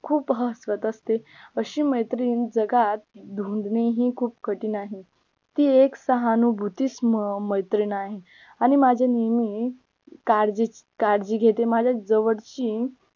खूप हसवत असते अशी मैत्रीण जगात ही खूप कठीण आहे ती एक सहानुभूती म मैत्रीण आहे आणि माझ्या नेहमी काळजी काळजी घेते माझ्या जवळची